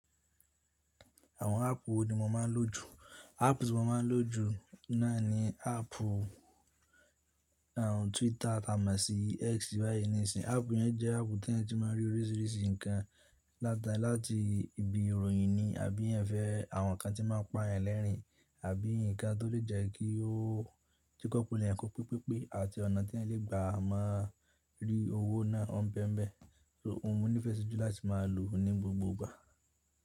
Àwọn áàpù wo ni mo máa ń lò jù? Áàpù tí mo máa ń lò jù náà ni áàpù, ààún Twitter tí a mo sì X báyìí nísin. Áàpù yẹn jẹ́ áàpù tí eeyan ti máa rí oríṣìíríṣìí nǹkan, láta láti ibi ìròyìn ni àbí eeyan fẹ́ àwọn nǹkan tí máa ń pa eeyan lẹ́rìn-ín, àbí nǹkan tó lè jẹ́ kí ó tí kọ́ pelu kọ́ pípípẹ́ àti ọ̀nà tí ẹ̀yin lè gbà má rí owó náà ọ́n bẹ́ẹ̀ bẹ́ẹ̀. So òun mi nífẹ̀ẹ́ sí jù láti máa lò ó ní gbogbogbà.